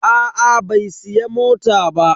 Aa bai siya mota ba.